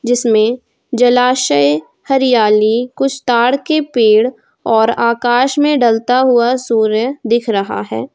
जिसमें जलाशय हरियाली कुछ तार के पेड़ और आकाश में ढलता हुआ सूर्य दिख रहा है।